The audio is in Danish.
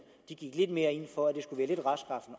gik lidt mere ind for at det